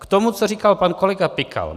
K tomu, co říkal pan kolega Pikal.